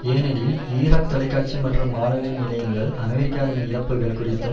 ஏனெனில் ஈராக் தொலைக்காட்சி மற்றும் வானொலி நிலையங்கள் அமெரிக்காவின் இழப்புக்கள் குறித்தும்